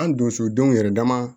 An donsodenw yɛrɛ dama